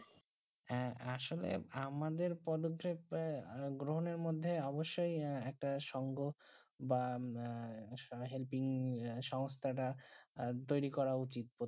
হ্যাঁ আসলে আমাদের প্রদপি মনে গ্রহণ মধ্যে অৱশ্যে একতা সংঘ বা হেল্পিং সমস্যা টা তৈরি উচিত